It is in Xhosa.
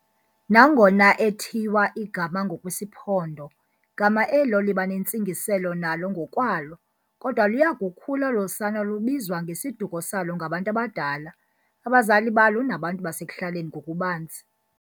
Nangona ethiywa igama ngokwesiMpondo, gama elo libanentsingiselo nalo ngokwalo, kodwa luyakukhula olo sana lubizwa ngesiduko salo ngabantu abadala, abazali balo nabantu basekuhlaleni ngokubanzi.